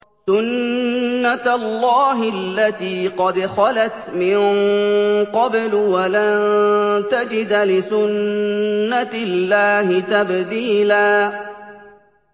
سُنَّةَ اللَّهِ الَّتِي قَدْ خَلَتْ مِن قَبْلُ ۖ وَلَن تَجِدَ لِسُنَّةِ اللَّهِ تَبْدِيلًا